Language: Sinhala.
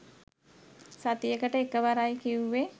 සතියකට එකවරයි කිවුවෙ